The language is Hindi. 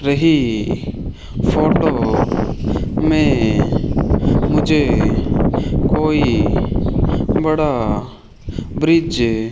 रही फोटो में मुझे कोई बड़ा ब्रिज --